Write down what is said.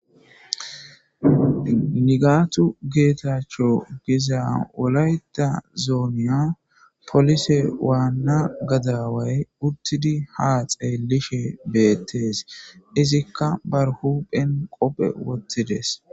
nigaatu geetachcho giza wolayta zoomiya polise waanna gadaway uttidi ha xeelishe beettees izikka bar huphen qophe wottides